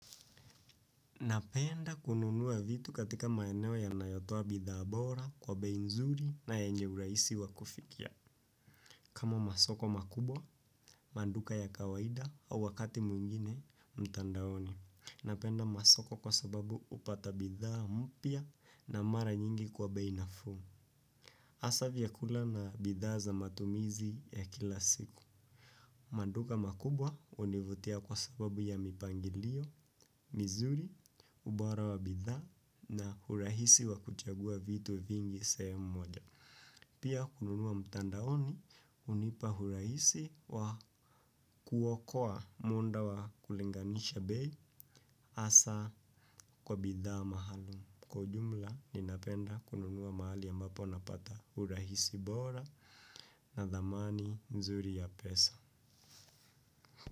Napenda kununua vitu katika maeneo yanayotoa bidhaa bora kwa bei nzuri na yenye urahisi wa kufikia. Kama masoko makubwa, maduka ya kawaida au wakati mwingine mtandaoni. Napenda masoko kwa sababu hupata bidhaa mpya na mara nyingi kwa bei nafuu. Hasa vyakula na bidhaa za matumizi ya kila siku. Maduka makubwa hunivutia kwa sababu ya mipangilio, mizuri, ubora wa bidhaa na urahisi wa kuchagua vitu vingi sehemu moja. Pia kununua mtandaoni hunipa urahisi wa kuokoa muda wa kulinganisha bei hasa kwa bidhaa maalum. Kwa ujumla ninapenda kununua mahali ambapo napata urahisi bora na dhamani nzuri ya pesa.